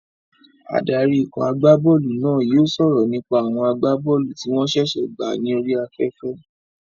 Adarí ikọ̀ agbá bọ́ọ̀lù náà yóò sọ̀rọ̀ nípa àwọn agbá bọ́ọ̀lù tí wọ́n ṣẹ̀ṣẹ̀ gbà ní orí afẹ́fẹ́